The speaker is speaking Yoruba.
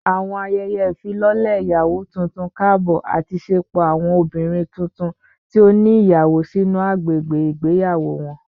Awọn ayẹyẹ ifilọlẹ iyawo tuntun kaabọ ati ṣepọ awọn obinrin tuntun ti o ni iyawo sinu agbegbe igbeyawo wọn